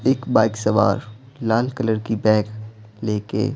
एक बाइक सवार लाल कलर की बैग लेके--